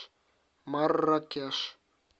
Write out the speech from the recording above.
марракеш